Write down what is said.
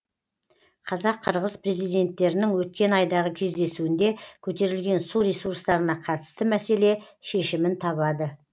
қазақ қырғыз президенттерінің өткен айдағы кездесуінде көтерілген су ресурстарына қатысты мәселе шешімін табады